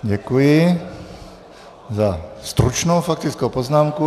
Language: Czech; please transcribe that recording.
Děkuji za stručnou faktickou poznámku.